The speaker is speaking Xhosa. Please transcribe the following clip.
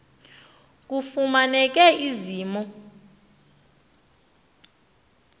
kufumaneke ezi mo